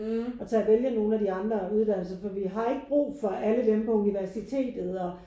Og tage at vælge nogle af de andre uddannelser for vi har ikke brug for alle dem på universitet og